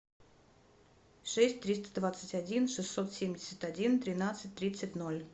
шесть триста двадцать один шестьсот семьдесят один тринадцать тридцать ноль